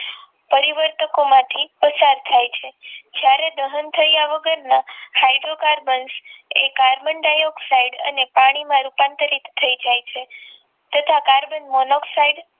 પરિવર્તકો માંથી પસાર થાય છે જ્યારે દહન થયા વગરના હાઇડ્રોકાર્બન કે કાર્બન ડાયોક્સાઇડ અને પાણીમાં રૂપાંતરિત થઈ જાય છે તથા કાર્બન મોનોક્સાઈડ